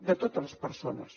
de totes les persones